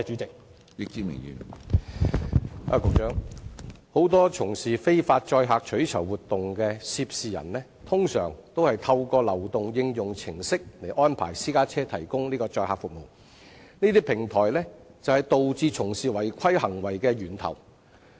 局長，很多從事非法載客取酬活動的涉事人，通常都是透過流動應用程式安排私家車提供載客服務，而這些平台正是導致有關違規行為的源頭。